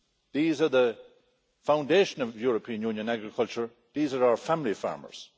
These are the foundation of European Union agriculture. These are our family farmers.